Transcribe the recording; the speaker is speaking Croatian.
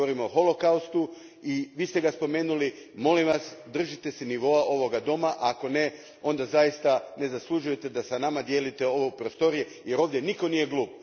Govorimo o holokaustu i Vi ste ga spomenuli, molim Vas držite se nivoa ovoga doma, a ako ne, onda zaista ne zaslužujete da s nama dijelite ove prostorije, jer ovdje nitko nije glup.